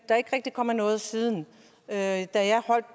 er ikke rigtig kommet noget siden da